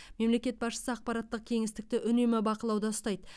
мемлекет басшысы ақпараттық кеңістікті үнемі бақылауда ұстайды